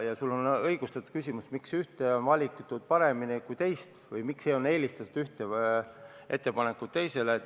Sul on õigustatud küsimus, miks on eelistatud ühte ettepanekut teisele.